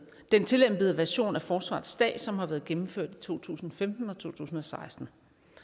den tillempede version af forsvarets dag som har været gennemført i to tusind og femten og to tusind og seksten